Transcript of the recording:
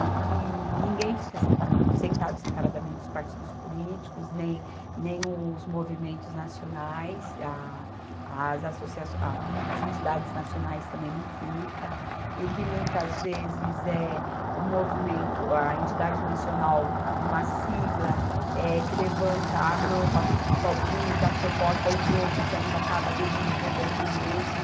e que ninguém fica separado, sentado separadamente os partidos políticos, nem, nem os movimentos nacionais, a, as associaçõ, a, as entidades nacionais também não fica, e que muitas vezes é o movimento, a entidade nacional de uma sigla, eh, que levanta a mão para o número da proposta, os outros ainda acabam aderindo e votando na mesma,